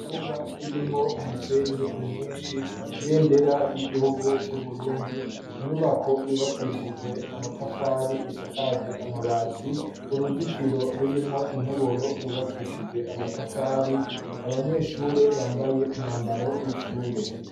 Ikibuga kirimwo umusenyi mwishi ibendera ry'igihugu c'uburundi inyubako yubakishijwe amatafari isakaje amabati uruzitiro rurimwo intoboro rwubakishije amatafari abanyeshure bambaye umwambaro w'ishure.